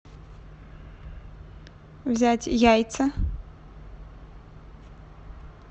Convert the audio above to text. взять яйца